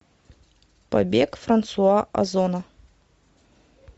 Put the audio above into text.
побег франсуа озона